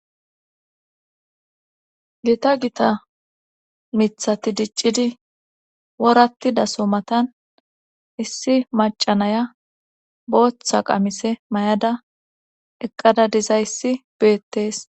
gita gita mithati diccidi worattida so matan issi macanaya booththa qamise mayada eqqada dizayssi beettes